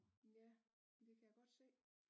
Ja men det kan jeg godt se